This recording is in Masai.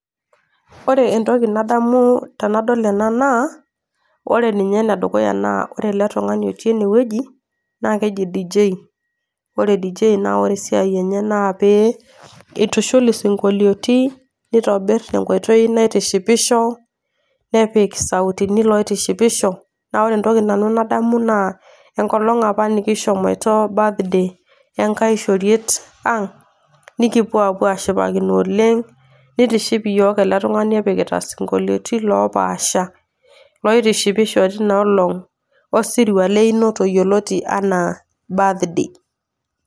Ore entoki nadamu tenadol ena naa, ore ninye ene dukuya naa ore ele tung'ani otii enewueji naa keji dj. Ore dj ore esiai enye naa pee eitushul isinkoliotin, neitobir tenkoitoi naitishipisho, nepik ilsautini loitoshipisho. Naa ore entoki nadamu nanu naa enkolong' opa nikishomoito birthday enkai shoriet ang', nekipuo apuo ashipakino oleng' neitiship iyiok ele tung'ani epikitai isinkoliotin loopaasha, loitoshipisho teina olong' osirua leinoto yioloti anaa birthday.